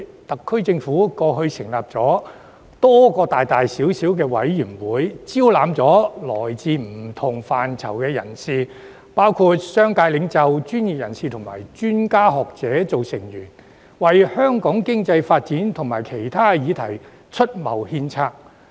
特區政府過去成立了多個大大小小的委員會，招攬來自不同範疇的人士，包括商界領袖、專業人士及專家學者作為成員，為香港經濟發展及其他議題出謀獻策。